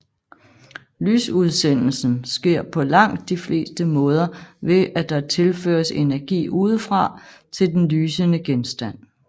Lysudsendelsen sker på langt de fleste måder ved at der tilføres energi udefra til den lysende genstand